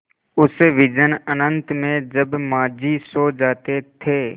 उस विजन अनंत में जब माँझी सो जाते थे